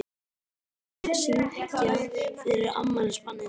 Við verðum að syngja fyrir afmælisbarnið.